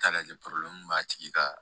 Taa lajɛ b'a tigi ka